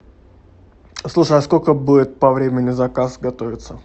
слушай а сколько будет по времени заказ готовиться